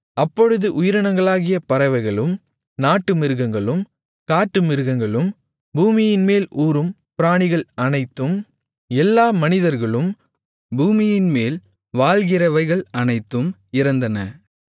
அப்பொழுது உயிரினங்களாகிய பறவைகளும் நாட்டுமிருகங்களும் காட்டுமிருகங்களும் பூமியின்மேல் ஊரும் பிராணிகள் அனைத்தும் எல்லா மனிதர்களும் பூமியின்மேல் வாழ்கிறவைகள் அனைத்தும் இறந்தன